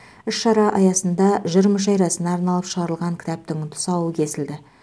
іс шара аясында жыр мүшәйрасына арналып шығарылған кітаптың тұсауы кесілді